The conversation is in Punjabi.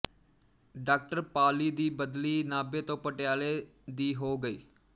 ਡਾਕਟਰ ਪਾਲੀ ਦੀ ਬਦਲੀ ਨਾਭੇ ਤੋਂ ਪਟਿਆਲੇ ਦੀ ਹੋ ਗਈ